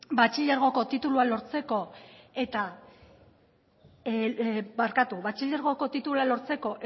batxilergoko titulua lortzeko